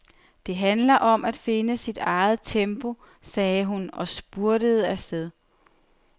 Det handler om at finde sit eget tempo, sagde hun og spurtede afsted.